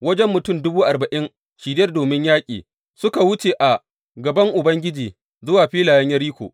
Wajen mutum dubu arba’in shirye domin yaƙi, suka wuce a gaban Ubangiji zuwa filayen Yeriko.